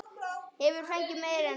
Hefur fengið meira en nóg.